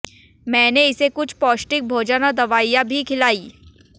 मैंने इसे कुछ पौष्टिक भोजन और दवाइयां भी खिलाईं